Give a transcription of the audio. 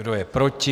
Kdo je proti?